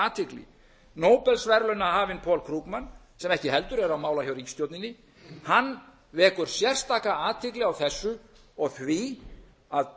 athygli nóbelsverðlaunahafinn paul krugman sem ekki heldur er á mála hjá ríkisstjórninni vekur sérstaka athygli á þessu og því að